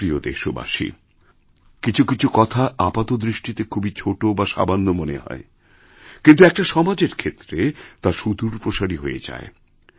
আমার প্রিয় দেশবাসী কিছু কিছু কথা আপাতদৃষ্টিতে খুবই ছোট বাসামান্য মনে হয় কিন্তু একটা সমাজের ক্ষেত্রে তা সুদূরপ্রসারী হয়ে যায়